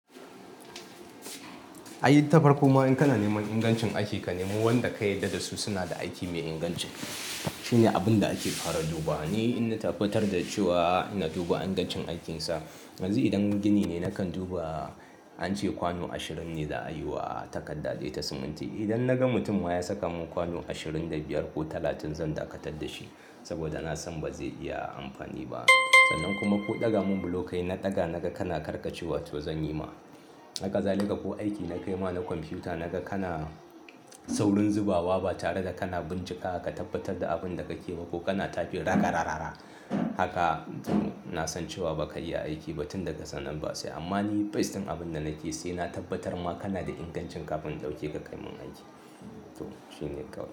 A yi tafarku ma in kana neman ingancin aiki, ka nemo wanda ka yarda da su suna da aiki mai inganci. Shine abun da ake fara duba. Ni in na tabbatar da cewa na duba ingancin aikinsa. Yanzu idan gini ne nakan duba, an ce kwano ashirin ne za a yi wa takadda dai ta siminti. Idan naga mutum wa ya saka mun kwano ashirin da biyar ko talatin zan dakatar da shi. Saboda na san ba zai iya amfani ba. Sannan kuma ko ɗaga mun blokai na ɗaga naga kana karkatcewa to zan yi ma. Haka za lika ko aiki na kai ma na kwamfiyuta naga kana saurin zubawa ba tare da kana bincika ka tabbatar da abin da kake ba ko kana tafi raka rarara. Haka to na san cewa ba ka iya aiki ba tun daga sannan batsa. Amma ni faistin abin da nake yi shine na tabbatar ma kana da inganci kafin in ɗauke ka kai mun aiki. To shine kam.